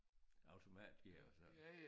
Automatgear og sådan